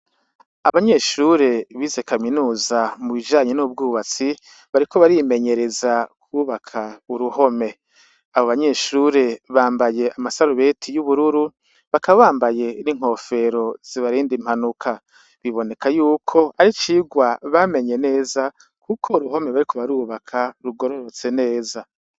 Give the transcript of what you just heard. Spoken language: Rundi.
Abanyeshure bize kaminuza mu bijanye n' ubw' ubutsi, bariko barimenyereza kwubaka uruhome. Abo banyeshure bambaye amasarubeti y' ubururu, bakaba bambaye n' inkofero zibarinda impanuka. Biboneka y'uko ari icirwa bamenye neza, kuko uruhome bariko barubaka rugororotse neza.